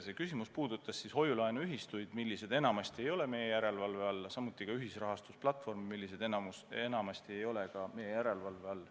See küsimus puudutas siis hoiu-laenuühistuid, mis enamasti ei ole meie järelevalve all, ja ka ühisrahastusplatvorme, mis enamasti samuti ei ole meie järelevalve all.